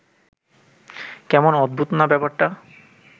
কেমন অদ্ভুত না ব্যাপারটা